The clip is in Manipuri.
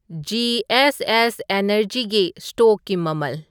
ꯖꯤ.ꯑꯦꯁ.ꯑꯦꯁ. ꯑꯦꯅꯔꯖꯤꯒꯤ ꯁ꯭ꯇꯣꯛꯀꯤ ꯃꯃꯜ